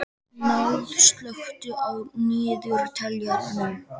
Náð, slökktu á niðurteljaranum.